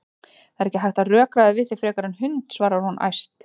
Það er ekki hægt að rökræða við þig frekar en hund, svarar hún æst.